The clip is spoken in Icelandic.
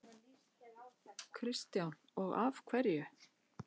Kristján: Og af hverju?